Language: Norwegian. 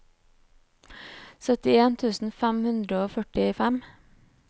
syttien tusen fem hundre og førtifem